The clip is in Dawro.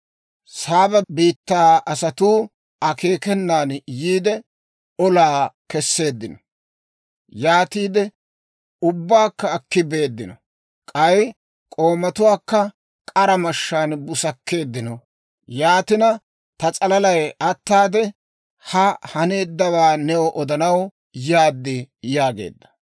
Saaba biittaa asatuu akeekenan yiide, olaa kesseeddino; yaatiide ubbaakka akki beeddino. K'ay k'oomatuwaakka k'ara mashshaan busakkeeddino. Yaatina, ta s'alalay ataade, ha haneeddawaa new odanaw yaad» yaageedda.